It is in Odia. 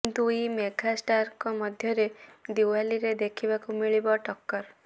ଦୁଇ ମେଗା ଷ୍ଟାରଙ୍କ ମଧ୍ୟରେ ଦ୍ୱିୱାଲିରେ ଦେଖିବାକୁ ମିଳିବ ଟକ୍କର